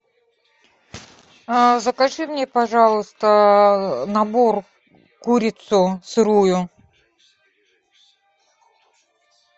закажи мне пожалуйста набор курицу сырую